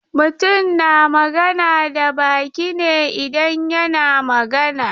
Mutum na magana da baki ne idan yana magana.